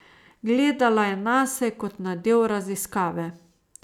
Gledala je nase kot na del raziskave.